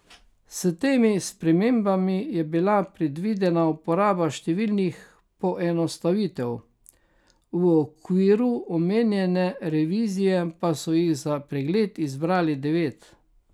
S temi spremembami je bila predvidena uporaba številnih poenostavitev, v okviru omenjene revizije pa so jih za pregled izbrali devet.